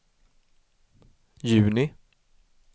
juni